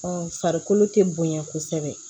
farikolo tɛ bonya kosɛbɛ